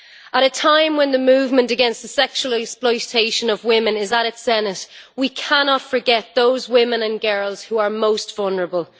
At a time when the movement against the sexual exploitation of women is at its zenith we cannot forget those women and girls who are most vulnerable.